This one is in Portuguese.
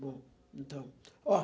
Bom, então. Ó